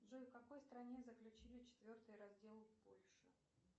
джой в какой стране заключили четвертый раздел польши